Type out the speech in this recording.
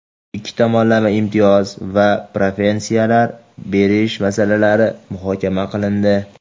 ikki tomonlama imtiyoz va preferensiyalar berish masalalari muhokama qilindi.